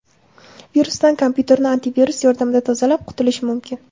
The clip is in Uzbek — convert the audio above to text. Virusdan kompyuterni antivirus yordamida tozalab, qutulish mumkin.